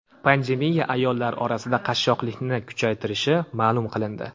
Pandemiya ayollar orasida qashshoqlikni kuchaytirishi ma’lum qilindi.